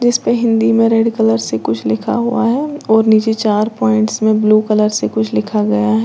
इसमें हिंदी में red colour से कुछ लिखा हुआ है और नीचे चार पॉइंट्स में ब्लू कलर से कुछ लिखा हुआ है।